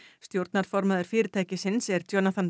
stjórnarformaður fyrirtækisins er